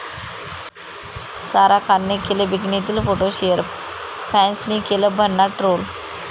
सारा खानने केले बिकनीतले फोटो शेअर, फॅन्सनी केलं भन्नाट ट्रोल